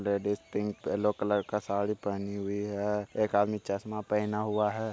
Ladies pink yellow colour का साड़ी पहनी हुई है एक आदमी चश्मा पहना हुआ है।